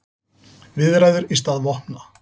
Viðræður í stað vopna